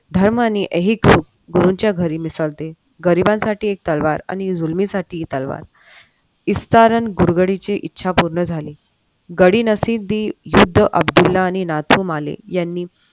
धर्म आणि गरिबांसाठी एक तलवार आणि जुर्मांसाठी एक तलवार इस कारण गुरगाडीचे इच्छा पूर्ण झाले गडी नसती तरी बुद्ध अब्दुल्ला नाथू मार्ले यांनी